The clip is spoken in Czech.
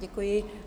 Děkuji.